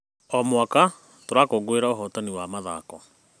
O mwaka, tũrakũngũĩra ũhotani wa mathako.